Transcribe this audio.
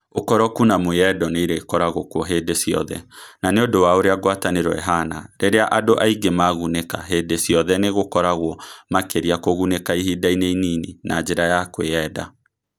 Ũkoroku na mwĩyendo nĩ irĩkoragwo kuo hĩndĩ ciothe, na nĩ ũndũ wa ũrĩa ngwatanĩro ĩhaana, rĩrĩa andũ aingĩ magunĩka, hĩndĩ ciothe nĩ gũkoragwo makĩria kũgunĩka ihinda-inĩ inini na njĩra ya kwĩyenda.